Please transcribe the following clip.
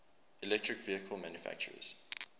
electric vehicle manufacturers